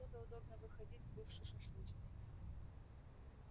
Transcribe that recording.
оттуда удобно выходить к бывшей шашлычной